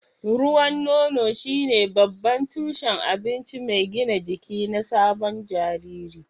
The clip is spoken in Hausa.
Ruwan nono shine babban tushen abinci mai gina jiki na sabon jariri.